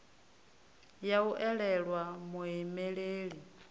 ya u o elwa muimeleli